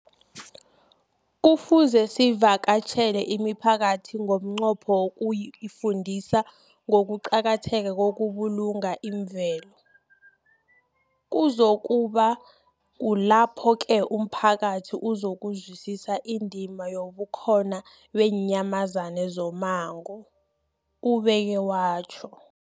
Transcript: Kufuze sivakatjhele imiphakathi ngomnqopho wokuyifundisa ngokuqakatheka kokubulunga imvelo. Kuzoku ba kulapho-ke umphakathi uzokuzwisisa indima yobukhona beenyamazana zommango, ubeke watjho.